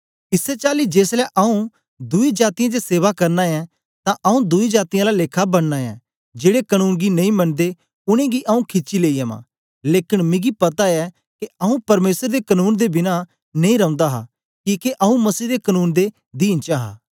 इसै चाली जेसलै आऊँ दुई जातीयें च सेवा करना ऐं तां आऊँ दुई जातीयें आला लेखा बननां ऐं जेड़े कनून गी नेई मंनदे उनेंगी आऊँ खिची लेई अवां लेकन मिगी पता ऐ के आऊँ परमेसर दे कनून दे बिना नेई रौंदा हा किके आऊँ मसीह दे कनून दे दीन च आं